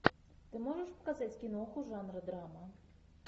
ты можешь показать киноху жанра драма